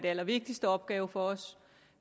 allervigtigste opgave for os